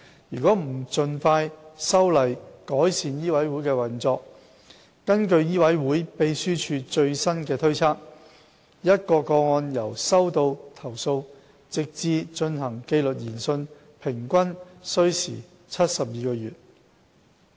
如不盡快修例改善醫委會運作，根據醫委會秘書處最新推測，一宗個案由收到投訴直至進行紀律研訊平均需時72個月。